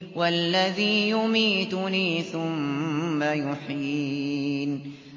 وَالَّذِي يُمِيتُنِي ثُمَّ يُحْيِينِ